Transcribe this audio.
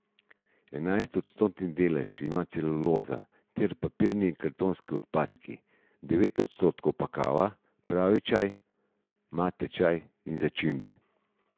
Enajst odstotni delež ima celuloza ter papirni in kartonski odpadki, devet odstotkov pa kava, pravi čaj, mate čaj in začimbe.